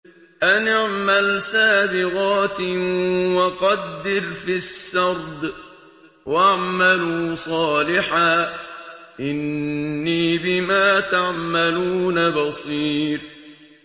أَنِ اعْمَلْ سَابِغَاتٍ وَقَدِّرْ فِي السَّرْدِ ۖ وَاعْمَلُوا صَالِحًا ۖ إِنِّي بِمَا تَعْمَلُونَ بَصِيرٌ